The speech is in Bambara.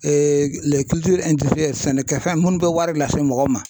sɛnɛkɛfɛn minnu bɛ wari lase mɔgɔ ma.